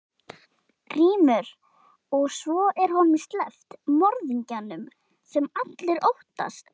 GRÍMUR: Og svo er honum sleppt, morðingjanum, sem allir óttast!